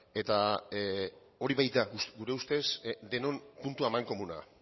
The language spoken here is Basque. eta hori baita gure ustez denon puntu amankomuna